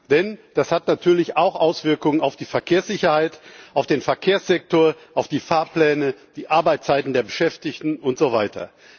Denn das hat natürlich auch Auswirkungen auf die Verkehrssicherheit, auf den Verkehrssektor, auf die Fahrpläne, die Arbeitszeiten der Beschäftigten und so weiter.